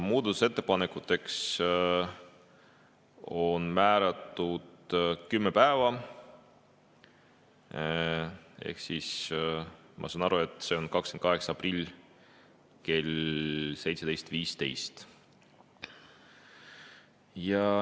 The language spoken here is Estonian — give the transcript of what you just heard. Muudatusettepanekute tegemiseks on kümme päeva, ma saan aru, et see on 28. aprillil kell 17.15.